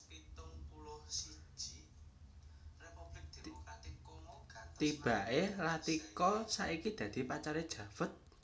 Tibaké Latika saiki dadi pacaré Javed